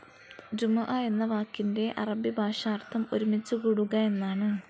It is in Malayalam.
ജുമുഅ എന്ന വാക്കിൻ്റെ അറബി ഭാഷാർഥം ഒരുമിച്ചു കൂടുക എന്നാണ്.